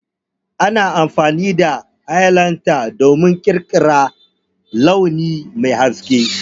Ana amfani da Highlighter don ƙirƙirar launi mai haske.